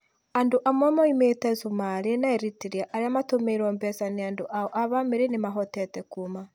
Andũ amwe moimĩte Cumarĩ na Eritrea arĩa matũmĩrwo mbeca nĩ andũ ao a bamĩrĩ nĩmahotire kuuma.